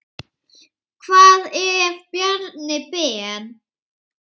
Hvað ef Bjarni Ben.